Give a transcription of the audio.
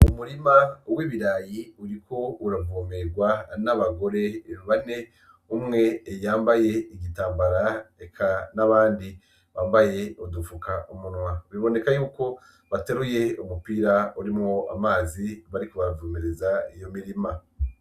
Umurima w’ibiraya uriko uravomegerwa n'abagore bane; umwe yambaye igitambara, reka n’abandi bambaye udufuka umunwa. Biboneka yuko bateruye umupira urimwo amazi bariko baravomera iyo mirima.